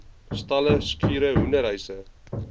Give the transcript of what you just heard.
stalle skure hoenderhuise